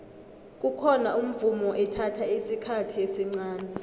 kukhona umvumo ethatha isikhathi esncani